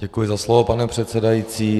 Děkuji za slovo, pane předsedající.